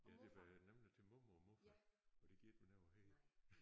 Ja det bliver nemlig til mormor og morfar og det gider ikke være noget jeg hedder